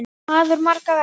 Maður margra verka.